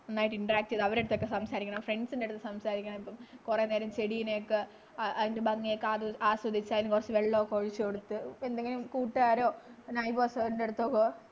നന്നായിട്ടു interact ചെയ്ത് അവരുടെ അടുത്ത് സംസാരിക്കണം friends ൻ്റെ അടുത്തു സംസാരിക്കണം ഇപ്പം കുറെ നേരം ചെടിനെ ഒക്കെ അതിന്റെ ഭംഗിയൊക്കെ ആസ്വദിച്ചു അതിനു കുറച്ചു വെള്ളമൊക്കെ ഒഴിച്ച് കൊടുത്ത് എന്തെങ്കിലും കൂട്ടുകാരോ neighbour ഓ ണ്ടെടുത്തോ പോവ്വാ